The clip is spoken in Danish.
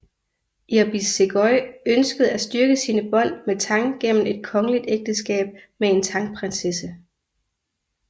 Irbis Seguy ønskede at styrke sine bånd med Tang gennem et kongeligt ægteskab med en Tang prinsesse